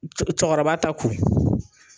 Cɔ cɔkɔrɔba ta kun.